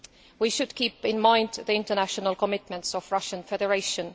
We should bear in mind the international commitments of the Russian Federation.